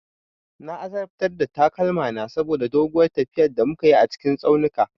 Na azabtar da takalmana saboda doguwar tafiya da muka yi a cikin tsaunuka.